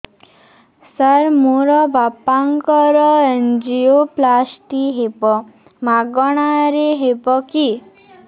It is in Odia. ସାର ମୋର ବାପାଙ୍କର ଏନଜିଓପ୍ଳାସଟି ହେବ ମାଗଣା ରେ ହେବ କି